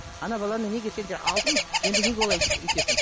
ана баланы неге сендер алдың енді неге олай өйтесің